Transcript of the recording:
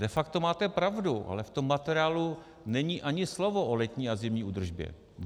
De facto máte pravdu, ale v tom materiálu není ani slovo o letní a zimní údržbě.